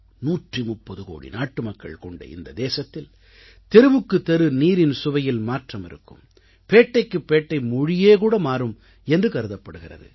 130 கோடி நாட்டுமக்கள் கொண்ட இந்த தேசத்தில் தெருவுக்குத் தெரு நீரின் சுவையில் மாற்றம் இருக்கும் பேட்டைக்குப் பேட்டை மொழியே கூட மாறும் என்று கருதப்படுகிறது